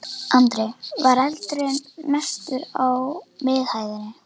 Andri: Var eldurinn mestur á miðhæðinni?